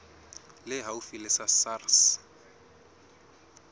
le haufi le la sars